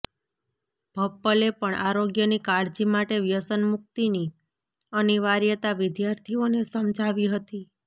ભપ્પલે પણ આરોગ્યની કાળજી માટે વ્યસનમુકિતની અનિવાર્યતા વિદ્યાર્થીઓને સમજાવી હતી